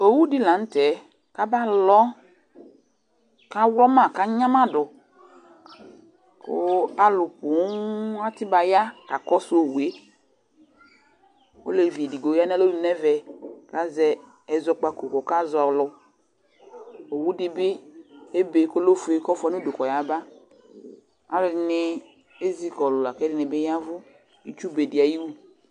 Owu dɩ la nʋ tɛ kʋ abalɔ kʋ aɣlɔ ma kʋ anyama dʋ kʋ alʋ poo atɩ ba ya kakɔsʋ owu yɛ Olevi edigbo ya nʋ alɔnu nʋ ɛvɛ kʋ azɛ ɛzɔkpako kʋ ɔkazɔ alʋ Owu dɩ bɩ ebe kʋ ɔlɛ ofue kʋ ɔfʋa nʋ udu kɔyaba Alʋɛdɩnɩ ezi kɔlʋ la kʋ ɛdɩnɩ bɩ ya ɛvʋ nʋ itsu be dɩ ayʋ iwu